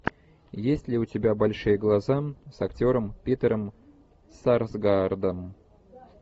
есть ли у тебя большие глаза с актером питером сарсгаардом